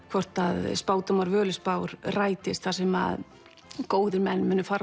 hvort spádómar Völuspár rætast þar sem góðir menn munu fara